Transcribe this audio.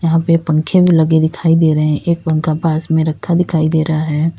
यहां पे पंखे भी लगे दिखाई दे रहे हैं एक पंखा पास में रखा दिखाई दे रहा है।